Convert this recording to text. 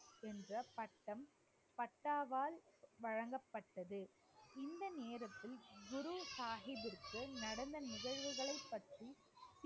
என்ற பட்டம் பட்டாவால் வழங்கப்பட்டது இந்த நேரத்தில் குரு சாஹிப்பிற்கு நடந்த நிகழ்வுகளை பற்றி